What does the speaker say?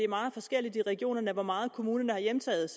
meget forskelligt i regionerne hvor meget kommunerne har hjemtaget